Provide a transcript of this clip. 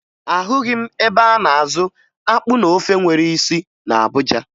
Ahụghị m ebe a na-azụ akpụ na ofe nwere isi na Abuja